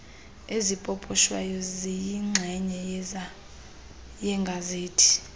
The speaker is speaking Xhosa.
ezipoposhwayo ziyinxenye yegazethi